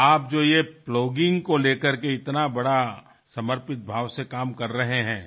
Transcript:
आपण प्लॉगींग संदर्भात जे काम इतक्या समर्पित भावनेने करत आहात